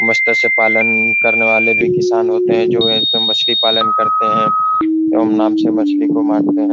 पालन करने वाले भी किसान होते हैं जो एक मछली पालन करते हैं नाम से मछली को मारते हैं।